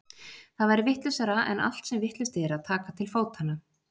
Það væri vitlausara en allt sem vitlaust er að taka til fótanna.